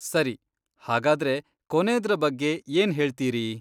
ಸರಿ.. ಹಾಗಾದ್ರೆ, ಕೊನೇದ್ರ ಬಗ್ಗೆ ಏನ್ ಹೇಳ್ತೀರಿ?